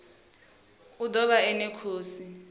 o ḓo vha ene khosi